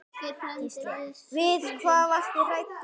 Gísli: Við hvað varstu hræddur?